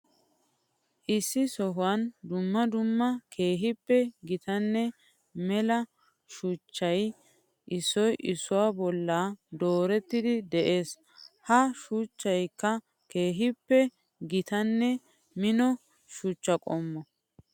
Issi sohuwan dumma dumma keehippe gitanne mela shuchchay issoy issuwa bolla doorettiddi de'ees. Ha shuchchaykka keehippe gitanne mino shuchcha qommo.